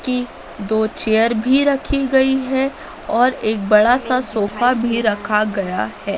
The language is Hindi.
की दो चेयर भी रखी गई है और एक बड़ा सा सोफा भी रखा गया है।